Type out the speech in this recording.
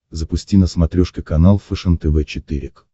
запусти на смотрешке канал фэшен тв четыре к